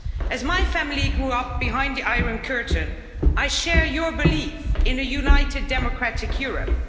As my family grew up behind the Iron Curtain, I share your belief in a united, democratic Europe.